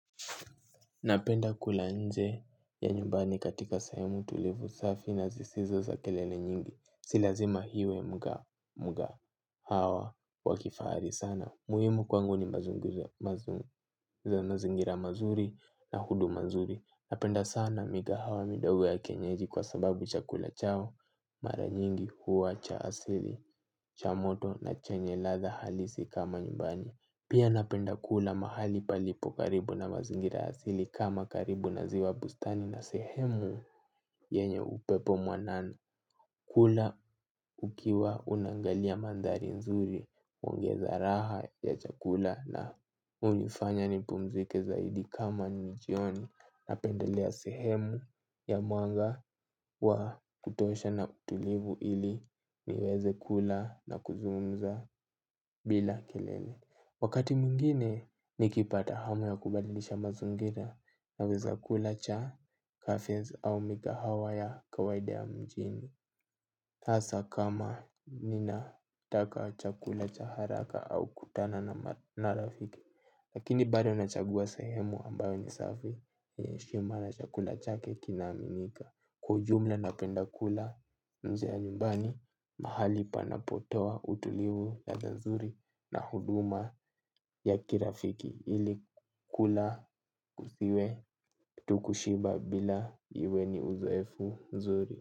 Napenda kula nje ya nyumbani katika sehemu tulivu safi na zisizo za kelele nyingi. Si lazima hiwe mgahawa wakifari sana. Muwimu kwangu ni mazingira mazuri na huduma nzuri. Napenda sana migahawa midogo ya kienyeji kwa sababu chakula chao mara nyingi huwa cha asili cha moto na chenye ladha halisi kama nyumbani. Pia napenda kula mahali palipo karibu na mazingira asili kama karibu na ziwa bustani na sehemu yenye upepo mwanana kula ukiwa unangalia mandari nzuri uongeza raha ya chakula na unifanya nipumzike zaidi kama nijioni napendelea sehemu ya mwanga wa kutosha na utulivu ili niweze kula na kuzungumza bila kelele. Wakati muingine ni kipata hamu ya kubadilisha mazingira naweza kula cha, cafes au mikahawa ya kawaida ya mijini. Hasa kama ni nataka chakula cha haraka au kutana na marafiki. Lakini bado nachagua sahemu ambayo ni safi ya heshima na chakula cha ke kina aminika. Kwa ujumla napenda kula mzee ya nyumbani mahali panapotoa utulivu ladha nzuri na huduma ya kirafiki ili kula kusiwe tu kushiba bila iwe ni uzoefu mzuri.